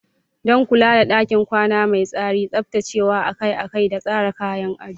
Don kula da ɗakin kwana mai tsari, tsaftacewa akai-akai da tsara kayan ado.